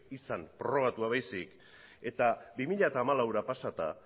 izan prorrogatua baizik eta bi mila hamalauera pasata